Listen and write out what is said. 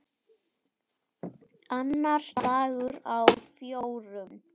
Annar dagur af fjórum.